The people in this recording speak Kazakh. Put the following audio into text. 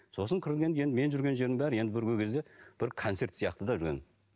сосын кіргенде енді менің жүрген жерімнің бәрі енді көрген кезде бір концерт сияқты да жүрген